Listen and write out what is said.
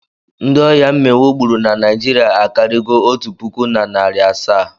Ndị ọya mminwụ gburu na Naịjirịa akarịgo otu puku na narị asaa.